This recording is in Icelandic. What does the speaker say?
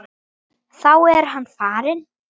Salt og pipar eftir smekk.